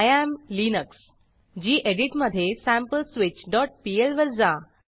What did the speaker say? I एएम Linux gedit मधे sampleswitchपीएल वर जा